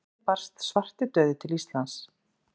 Hvernig barst svartidauði til Íslands?